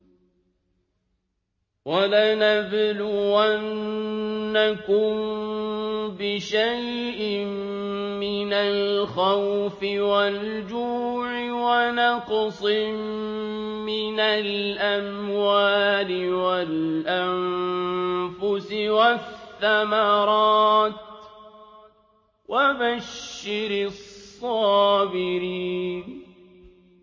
وَلَنَبْلُوَنَّكُم بِشَيْءٍ مِّنَ الْخَوْفِ وَالْجُوعِ وَنَقْصٍ مِّنَ الْأَمْوَالِ وَالْأَنفُسِ وَالثَّمَرَاتِ ۗ وَبَشِّرِ الصَّابِرِينَ